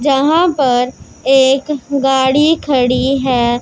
जहां पर एक गाड़ी खड़ी है।